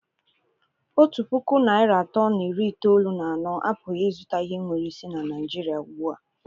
Otu puku naịra atọ na iri itoolu na anọ apụghị ịzụta ihe nwere isi na Naijiria ugbu a.